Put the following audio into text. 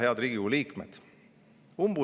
Head Riigikogu liikmed!